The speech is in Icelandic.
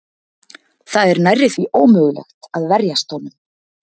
Það er nærri því ómögulegt að verjast honum.